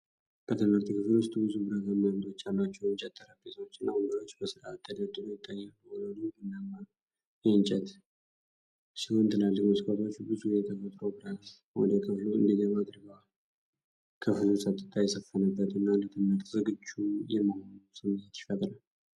በትምህርት ክፍል ውስጥ ብዙ ብረታማ እግሮች ያሏቸው የእንጨት ጠረጴዛዎችና ወንበሮች በሥርዓት ተደርድረው ይታያሉ። ወለሉ ቡናማ የእንጨት ሲሆን፣ ትላልቅ መስኮቶች ብዙ የተፈጥሮ ብርሃን ወደ ክፍሉ እንዲገባ አድርገዋል። ክፍሉ ጸጥታ የሰፈነበትና ለትምህርት ዝግጁ የመሆኑ ስሜት ይፈጥራል።